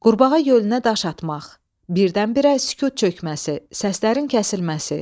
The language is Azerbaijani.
Qurbağa gölünə daş atmaq, birdən-birə sükut çökməsi, səslərin kəsilməsi.